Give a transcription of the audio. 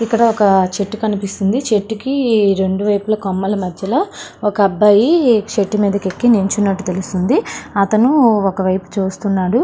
ఇక్కడ ఒక చెట్టు కనిపిస్తుంది చెట్టుకు రెండు వైపులా కొమ్మలు మధ్యలో ఒక అబ్బాయి చెట్టు మీదకి నిలిచినట్టుగా కనిపిస్తుంది. అతను ఒక వైపు చూస్తున్నాడు.